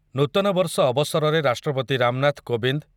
ନୂତନ ବର୍ଷ ଅବସରରେ ରାଷ୍ଟ୍ରପତି ରାମନାଥ କୋବିନ୍ଦ